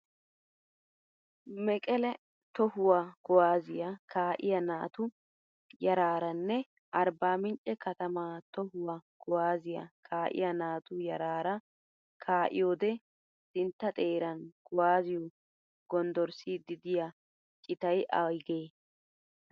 Mekele tohuwaa kuwaazziyaa kaa'iyaa naatu yaraaranne arbbaaminche katamaa tohuwaa kuwazziya kaa'iyaa natu yaraara kaa'iyoode sintta xeeran kuwaazziyoo gonddorssiiddi diyaa citayi ayigee?